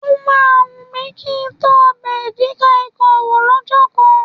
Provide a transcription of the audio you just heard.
Ó máa ń wù mi kí ń tọ ọbẹ̀ edi kai Kong wò lọ́jọ́ kan